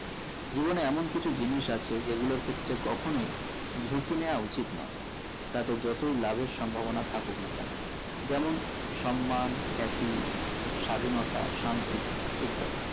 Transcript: জীবনে এমন কিছু জিনিস আছে যেগুলোর ক্ষেত্রে কখনোই ঝুঁকি নিওয়া উচিত নোই তাতে যতই লাভের সম্ভবনা থাকুক না কেন যেমন সম্মান happy স্বাধীনতা শান্তি ইত্যাদি